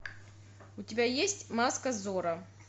у тебя есть маска зорро